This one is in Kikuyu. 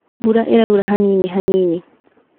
Mbura ĩraura hanini hanini